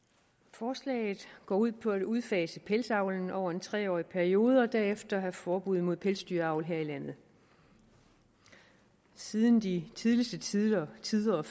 forslaget går ud på at udfase pelsavlen over en tre årig periode og derefter have forbud mod pelsdyravl her i landet siden de tidligste tider tider